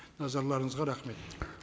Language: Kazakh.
назарларыңызға рахмет